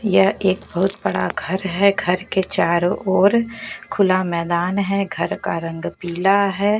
यह एक बहोत बड़ा घर है घर के चारो ओर खुला मैदान है घर का रंग पीला है।